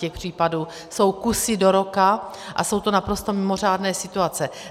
Těch případů jsou kusy do roka a jsou to naprosto mimořádné situace.